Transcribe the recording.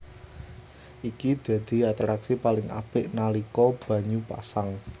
Iki dadi atraksi paling apik nalika banyu pasang